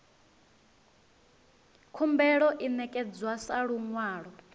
khumbelo i ṋekedzwa sa luṅwalo